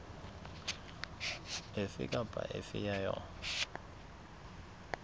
efe kapa efe ya yona